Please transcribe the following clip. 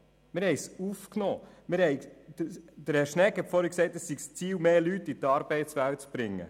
Herr Schnegg hat vorhin gesagt, das Ziel sei es, mehr Leute in die Arbeitswelt zu bringen.